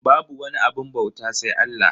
Babu wani abun bauta sai Allah.